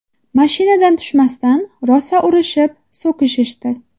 Mashinadan tushmasdan, rosa urishib, so‘kishishdi.